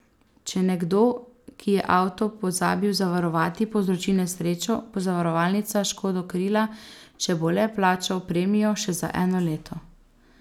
Če nekdo, ki je avto pozabil zavarovati, povzroči nesrečo, bo zavarovalnica škodo krila, če bo le plačal premijo še za eno leto.